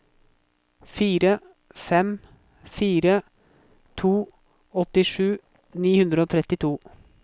fire fem fire to åttisju ni hundre og trettito